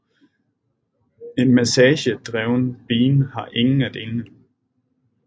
En message driven bean har ingen af delene